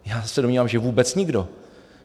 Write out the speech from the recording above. Já se domnívám, že vůbec nikdo.